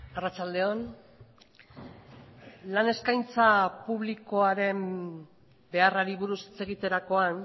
arratsalde on lan eskaintza publikoaren beharrari buruz hitz egiterakoan